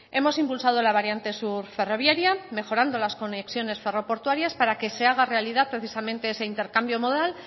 hemos impulsado la variante sur ferroviaria mejorando las condiciones ferro portuarias para que se haga realidad precisamente ese intercambio modal